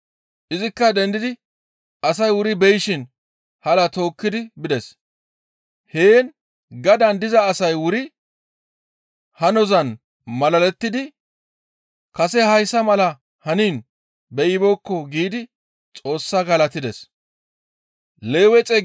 Izikka dendidi asay wuri beyishin halaa tookkidi bides. Heen gadaan diza asay wuri hanozan malalettidi, «Kase hayssa malay haniin beyibeekko» giidi Xoos galatides.